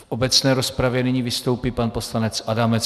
V obecné rozpravě nyní vystoupí pan poslanec Adamec.